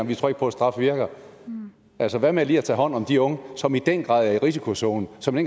vi tror ikke på at straf virker altså hvad med lige at tage hånd om de unge som i den grad er i risikozonen og som i